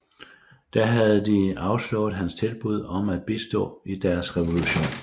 Der havde de afslået hans tilbud om at bistå i deres revolution